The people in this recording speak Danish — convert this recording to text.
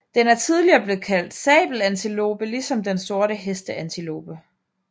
Den er tidligere blevet kaldt sabelantilope ligesom den sorte hesteantilope